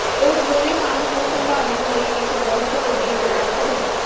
ਉਹ ਜ਼ਰੂਰੀ ਕੰਮ ਨੂੰ ਸੰਭਾਲਣ ਲਈ ਇੱਕ ਬਹੁਤ ਵੱਡੀ ਜਗ੍ਹਾ ਕਰਨ